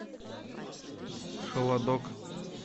холодок